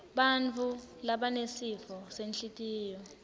bantfu labanesifo senhlitiyo